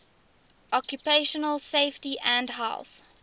occupational safety and health